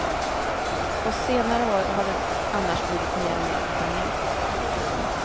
På senare år har det annars blivit mer och mer italienskt.